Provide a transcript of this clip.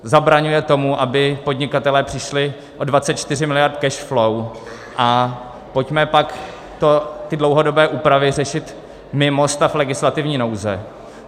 Zabraňuje tomu, aby podnikatelé přišli o 24 miliard cash flow, a pojďme pak ty dlouhodobé úpravy řešit mimo stav legislativní nouze.